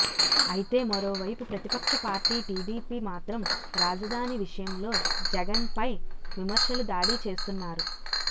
అయితే మరోవైపు ప్రతిపక్ష పార్టీ టీడీపీ మాత్రం రాజధాని విషయంలో జగన్పై విమర్శలు దాడి చేస్తున్నారు